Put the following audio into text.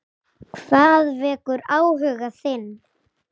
Hvað vekur áhuga þinn?